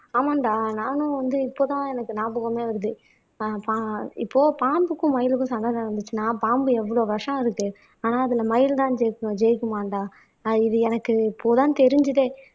ஆமாண்டா நானும் வந்து இப்ப தான் எனக்கு நியாபகமே வருது ஆஹ் பா இப்போ பாம்புக்கும் மயிலுக்கும் சண்டை நடந்துச்சுன்னா பாம்பு எவ்வளவு விஷம் அதுக்கு ஆனா அதுல மயிலுதான் ஜெயிக்கும் ஜெயிக்குமாண்டா ஆஹ் இது எனக்கு இப்பதான் தெரிஞ்சதே